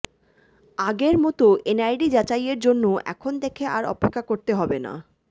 আগের মতো এনআইডি যাচাইয়ের জন্য এখন থেকে আর অপেক্ষা করতে হবে না